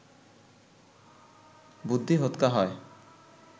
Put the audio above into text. বুদ্ধি হোঁতকা হয়